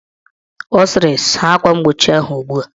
Ọ sịrị, saa akwa mgbochi ahụ ugbua!